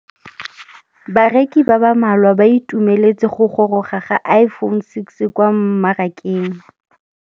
Bareki ba ba malwa ba ituemeletse go gôrôga ga Iphone6 kwa mmarakeng.